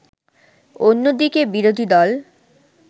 অন্যদিকে বিরোধী দল